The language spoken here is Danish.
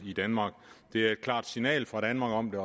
i danmark det er et klart signal fra danmark om det